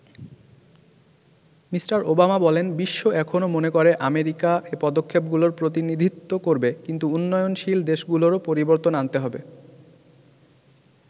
Me. Obama বলেন বিশ্ব এখনো মনে করে আমেরিকা এ পদক্ষেপ গুলোর প্রতিনিধিত্ব করবে কিন্তু উন্নয়নশীল দেশগুলোরও পরিবর্তন আনতে হবে।